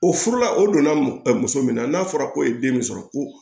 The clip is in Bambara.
O furula o donna muso min na n'a fɔra ko ye den min sɔrɔ ko